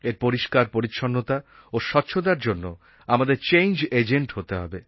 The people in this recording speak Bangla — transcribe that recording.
এর পরিষ্কারপরিচ্ছন্নতা ও স্বচ্ছতার জন্য আমাদের চেঞ্জ এজেন্ট হতে হবে